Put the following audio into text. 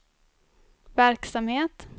verksamhet